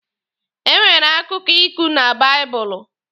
E nwere akụkọ iku na baịbụlụ.